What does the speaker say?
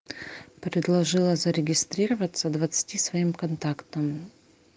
предложила зарегистрироваться двадцати своим контактам